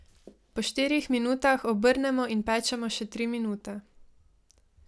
Po štirih minutah obrnemo in pečemo še tri minute.